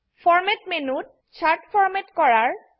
ফৰমাত মেনুত chart format কৰাৰ